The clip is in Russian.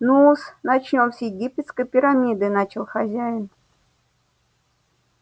ну-с начнём с египетской пирамиды начал хозяин